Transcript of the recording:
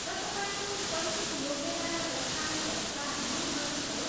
र तपाईँको शैक्षिक योग्यताका दस्तावेजहरूका मूल प्रतिहरू।